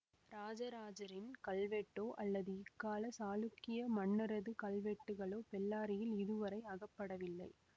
இராஜராஜனின் கல்வெட்டோ அல்லது இக்காலச் சாளுக்கிய மன்னரது கல்வெட்டுக்களோ பெல்லாரியில் இதுவரை அகப்படவில்லை